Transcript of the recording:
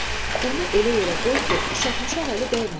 Bunu elə yerə qoy ki, uşaq-muşaq əli dəyməsin,